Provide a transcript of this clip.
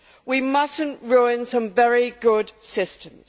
We must not ruin some very good systems.